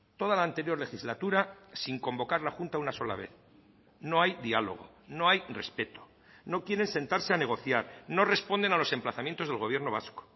toda la anterior legislatura sin convocar la junta una sola vez no hay diálogo no hay respeto no quieren sentarse a negociar no responden a los emplazamientos del gobierno vasco